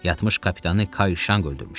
Yatmış kapitanı Kayşanq öldürmüşdü.